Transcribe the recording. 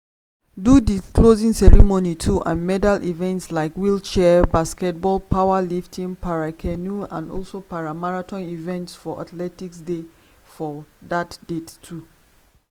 do di closing ceremony too and medal events like wheelchair basketball powerlifting para-canoe and also para-marathon events for athletics dey for dat date too.